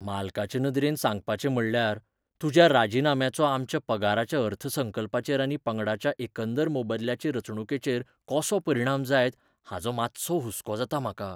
मालकाचे नदरेन सांगपाचें म्हणल्यार, तुज्या राजीनाम्याचो आमच्या पगाराच्या अर्थसंकल्पाचेर आनी पंगडाच्या एकंदर मोबदल्याचे रचणुकेचेर कसो परिणाम जायत हाचो मातसो हुसको जाता म्हाका.